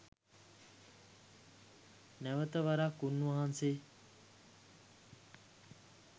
නැවත වරක් උන්වහන්සේ